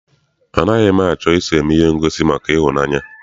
Anaghị m achọ I so eme ihe ngosi maka ịhụnanya.